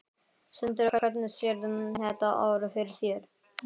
Sindri: Og hvernig sérðu þetta ár fyrir þér?